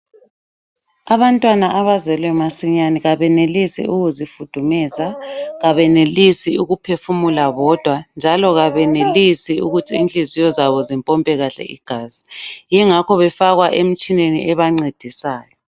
Abantwana abazelwe masinyane kabenelisi ukuzifudumeza, kabenelisi ukuphefumula bodwa njalo kabenelisi ukuthi inhliziyo zabo zimpompe kahle igazi, yingakho befakwa emtshineni ebancedisayo.